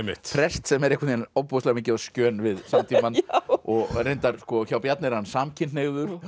prest sem er ofboðslega mikið á skjön við samtímann og reyndar sko hjá Bjarna er hann samkynhneigður